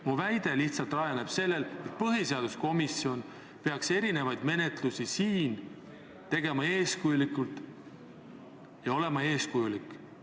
Ma lähtun lihtsalt sellest, et põhiseaduskomisjon peaks menetlusi läbi viima eeskujulikult.